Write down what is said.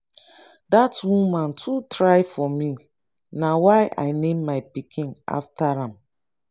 dat woman too try for me na why i name my pikin after am.